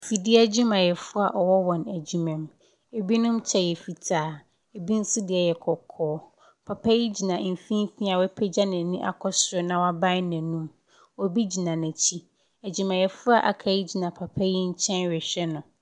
Efidie adwumayɛfoɔ ɔwɔ wɔn adwuma mu ɛbi kyɛw fitaa ebi nso deɛ yɛ kɔkɔɔ papa yɛ gyina mfimfini wapagya nani akɔ soro na wa bue na nom ɔbi gyina nakyi adwuma yɛfoɔ aka papa yɛ nkyɛn ɛhwɛ no.